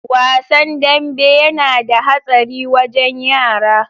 Wasan danbe yana da hatsari wajen yara.